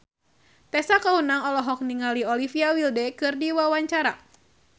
Tessa Kaunang olohok ningali Olivia Wilde keur diwawancara